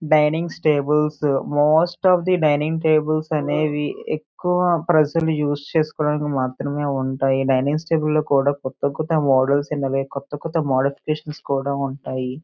Dining tables most of the dining tables అనేవి ఎక్కువ ప్రజలు యూస్ చేసుకోవడానికి మాత్రమే ఉంటాయి. డైనింగ్ టేబుల్స్ లో కూడా కొత్త కొత్త మోడల్స్ కొత్త కొత్త మోడీఫికేషన్స్ కూడా ఉంటాయి.